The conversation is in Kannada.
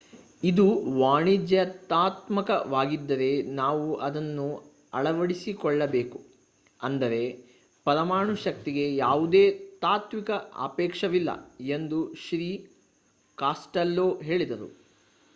ಇದು ವಾಣಿಜ್ಯಾತ್ಮಕವಾಗಿದ್ದರೆ ನಾವು ಅದನ್ನು ಅಳವಡಿಸಿಕೊಳ್ಳಬೇಕು ಅಂದರೆ ಪರಮಾಣು ಶಕ್ತಿಗೆ ಯಾವುದೇ ತಾತ್ವಿಕ ಆಕ್ಷೇಪವಿಲ್ಲ ಎಂದು ಶ್ರೀ ಕಾಸ್ಟೆಲ್ಲೊ ಹೇಳಿದರು